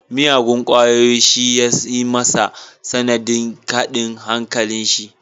Miyagun kwayoyi shi ya yi masa sanadin kadin hankalin shi